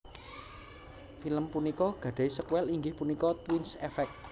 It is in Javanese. Film punika gadhahi sékuèl inggih punika Twins Effect